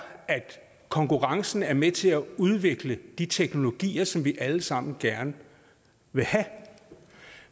at konkurrencen er med til at udvikle de teknologier som vi alle sammen gerne vil have